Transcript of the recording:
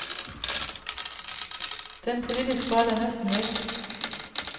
Den politisk vold er næsten væk.